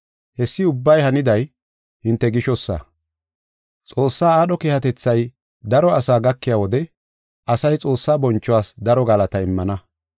Hessi ubbay haniday hinte gishosa. Xoossaa aadho keehatethay daro asaa gakiya wode asay Xoossaa bonchuwas daro galataa immana.